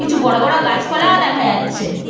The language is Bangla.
কিছু বড় বড় গাছপালাও দেখা যাচ্ছে ।